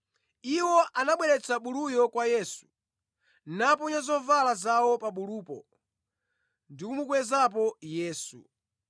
Iwo anabweretsa buluyo kwa Yesu, naponya zovala zawo pa bulupo ndi kumukwezapo Yesu.